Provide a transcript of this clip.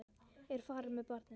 Ég er farin með barnið!